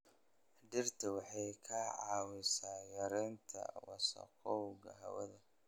Dhirta waxay ka caawisaa yareynta wasakhowga hawada.